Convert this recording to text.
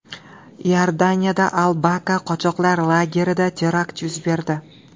Iordaniyada Al-Bakaa qochoqlar lagerida terakt yuz berdi.